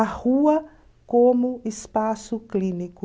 A Rua como Espaço Clínico.